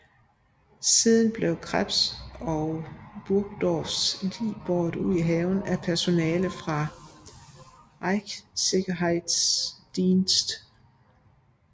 Siden blev Krebs og Burgdorfs lig båret ud i haven af personale fra Reichssicherheitsdienst